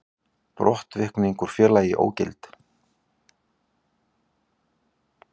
Brottvikning úr félagi ógild